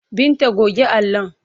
Binta goge allon!